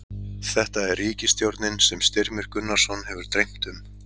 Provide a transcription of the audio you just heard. Þetta er ríkisstjórnin sem Styrmi Gunnarsson hefur dreymt um.